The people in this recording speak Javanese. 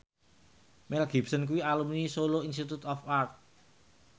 Mel Gibson kuwi alumni Solo Institute of Art